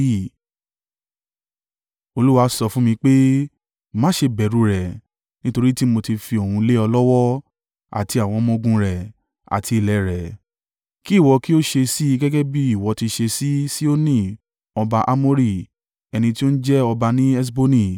Olúwa sọ fún mi pé, “Má ṣe bẹ̀rù rẹ̀, nítorí tí mó tí fi òun lé ọ lọ́wọ́, àti àwọn ọmọ-ogun rẹ̀, àti ilẹ̀ rẹ̀. Kí ìwọ kí ó ṣe sí i gẹ́gẹ́ bí ìwọ ti ṣe sí Sihoni ọba Amori ẹni tí ó ń jẹ ọba ní Heṣboni.”